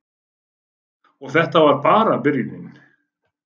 Og þetta var bara byrjunin.